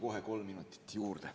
Küsin kohe kolm minutit juurde.